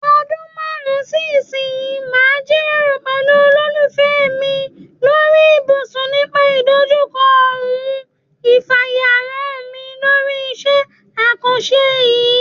O̩dún márùn-ún sí ìsinyìí màá jíròrò pè̩lú olólùfé̩ mi lórí ibùsùn nípa ìdojúko̩ òun ìfàyàrán mi lórí is̩é̩ àkàns̩e yìí.